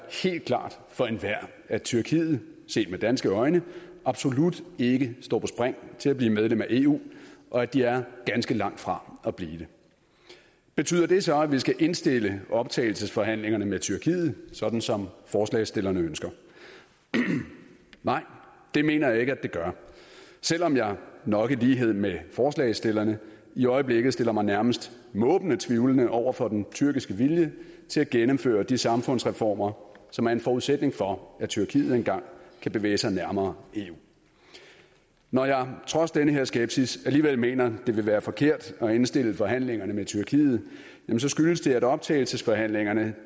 helt klart for enhver at tyrkiet set med danske øjne absolut ikke står på spring til at blive medlem af eu og at de er ganske langt fra at blive det betyder det så at vi skal indstille optagelsesforhandlingerne med tyrkiet sådan som forslagsstillerne ønsker nej det mener jeg ikke at det gør selv om jeg nok i lighed med forslagsstillerne i øjeblikket stiller mig nærmest måbende tvivlende over for den tyrkiske vilje til at gennemføre de samfundsreformer som er en forudsætning for at tyrkiet engang kan bevæge sig nærmere eu når jeg trods den her skepsis alligevel mener at det vil være forkert at indstille forhandlingerne med tyrkiet skyldes det at optagelsesforhandlingerne